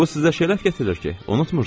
Bu sizə şərəf gətirir ki, unutmursuz.